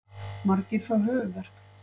Margir fá höfuðverk.